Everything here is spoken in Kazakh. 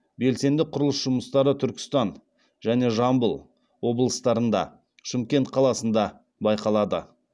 белсенді құрылыс жұмыстары түркістан және жамбыл облыстарында шымкент қаласында байқалады